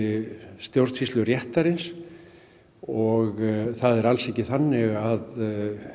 stjórnsýsluréttarins og það er alls ekki þannig að